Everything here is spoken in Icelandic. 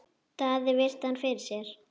Daði virti hann fyrir sér.